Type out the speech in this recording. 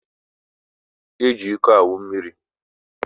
Eji ịkọ aṅụ mmiri.